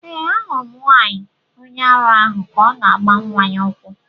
Ee, ahụrụ m nwanyị onye ara ahụ ka ọ na-agba nwa ya ụkwụ.